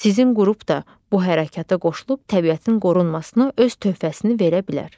Sizin qrup da bu hərəkətə qoşulub təbiətin qorunmasına öz töhfəsini verə bilər.